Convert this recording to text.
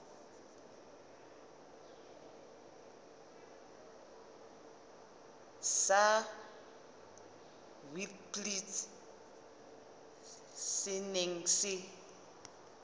sa witblits se neng se